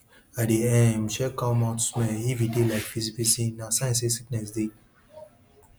i dey um check cow mouth smell if e dey like fisifisi na sign say sickness dey